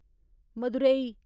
Madurai